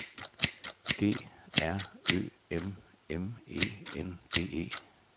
D R Ø M M E N D E